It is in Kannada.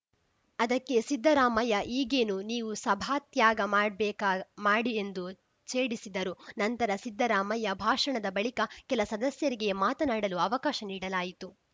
ಅದಕ್ಕೆ ಸಿದ್ದರಾಮಯ್ಯ ಈಗೇನು ನೀವೂ ಸಭಾತ್ಯಾಗ ಮಾಡ್ಬೇಕಾ ಮಾಡಿ ಎಂದು ಛೇಡಿಸಿದರು ನಂತರ ಸಿದ್ದರಾಮಯ್ಯ ಭಾಷಣದ ಬಳಿಕ ಕೆಲ ಸದಸ್ಯರಿಗೆ ಮಾತನಾಡಲು ಅವಕಾಶ ನೀಡಲಾಯಿತು